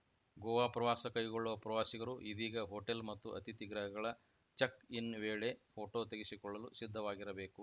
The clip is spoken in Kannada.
ಗೋವಾ ಪ್ರವಾಸ ಕೈಗೊಳ್ಳುವ ಪ್ರವಾಸಿಗರು ಇದೀಗ ಹೋಟೆಲ್‌ ಮತ್ತು ಅತಿಥಿ ಗೃಹಗಳ ಚೆಕ್‌ಇನ್‌ ವೇಳೆ ಫೋಟೊ ತೆಗೆಸಿಕೊಳ್ಳಲು ಸಿದ್ಧವಾಗಿರಬೇಕು